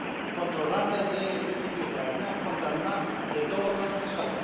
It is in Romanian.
controlată de Liviu Dragnea, condamnat de două ori la închisoare?